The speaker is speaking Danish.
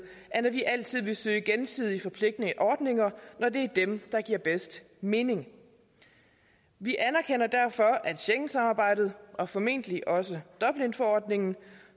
at vi altid vil søge gensidige forpligtende ordninger når det er dem der giver bedst mening vi anerkender derfor at schengensamarbejdet og formentlig også dublinforordningen